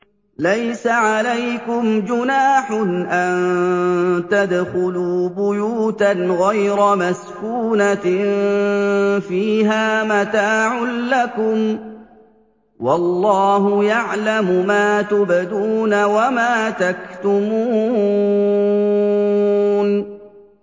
لَّيْسَ عَلَيْكُمْ جُنَاحٌ أَن تَدْخُلُوا بُيُوتًا غَيْرَ مَسْكُونَةٍ فِيهَا مَتَاعٌ لَّكُمْ ۚ وَاللَّهُ يَعْلَمُ مَا تُبْدُونَ وَمَا تَكْتُمُونَ